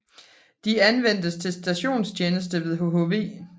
De anvendtes til stationstjeneste ved hhv